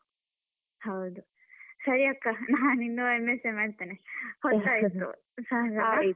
ಹೌದು, ಸರಿ ಅಕ್ಕಾ ನಾನ್ ಇನ್ನು M.sc ಏ ಮಾಡ್ತೇನೆ ಹೊತ್ತಾಯಿತು .